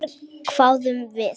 Verr, hváðum við.